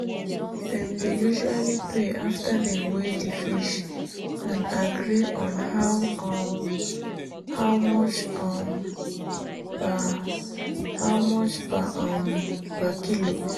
dem dey usually pay after dem weigh di fish and agree on how um much um per um kilo.